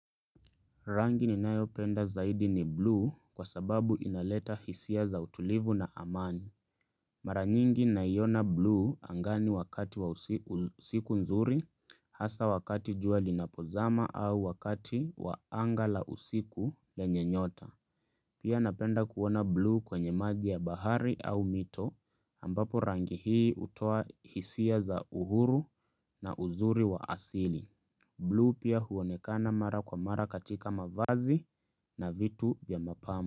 Rangi ni nayo penda zaidi ni bluu kwa sababu inaleta hisia za utulivu na amani. Mara nyingi naiona bluu angani wakati wa usiku nzuri hasa wakati jua linapozama au wakati waanga la usiku lenye nyota. Pia napenda kuona bluu kwenye maji ya bahari au mito ambapo rangi hii utoa hisia za uhuru na uzuri wa asili. Bluu pia huonekana mara kwa mara katika mavazi. Na vitu vya mapambo.